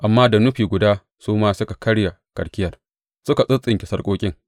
Amma da nufi guda su ma suka karye karkiyar suka tsintsinke sarƙoƙin.